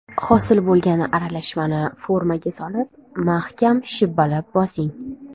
Hosil bo‘lgan aralashmani formaga solib mahkam shibbalab bosing.